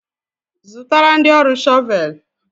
Zụtara ndị ọrụ shọvel!